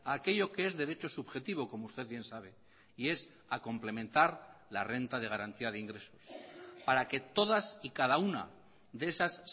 aquello que es derecho subjetivo como usted bien sabe y es a complementar la renta de garantía de ingresos para que todas y cada una de esas